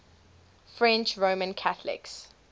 french roman catholics